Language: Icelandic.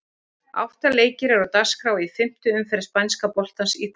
Átta leikir eru á dagskrá í fimmtu umferð spænska boltans í kvöld.